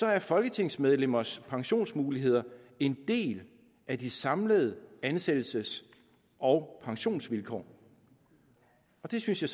er folketingsmedlemmers pensionsmuligheder en del af de samlede ansættelses og pensionsvilkår det synes jeg